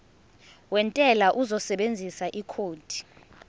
wentela uzosebenzisa ikhodi